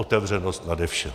Otevřenost nade vše.